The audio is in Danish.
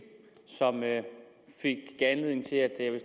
som gav anledning til at jeg vil